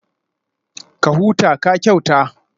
Ka huta, ka kyauta